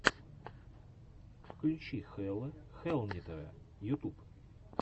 включи хелла хэллнитера ютуб